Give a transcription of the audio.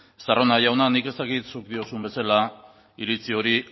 estarrona jauna nik ez dakit zuk diozun bezala iritzi hori